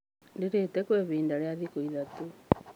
Ndirĩte kwa ihinda rĩa thikũ ithatũ.